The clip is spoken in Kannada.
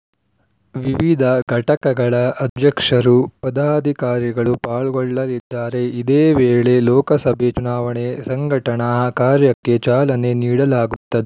ವಿವಿಧ ಘಟಕಗಳ ಅಧ್ಯಕ್ಷರು ಪದಾಧಿಕಾರಿಗಳು ಪಾಲ್ಗೊಳ್ಳಲಿದ್ದಾರೆಇದೇ ವೇಳೆ ಲೋಕಸಭೆ ಚುನಾವಣೆ ಸಂಘಟನಾ ಕಾರ್ಯಕ್ಕೆ ಚಾಲನೆ ನೀಡಲಾಗುತ್ತ